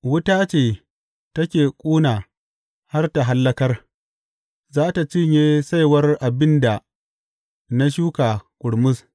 Wuta ce take ƙuna har ta hallakar; za tă cinye saiwar abin da na shuka ƙurmus.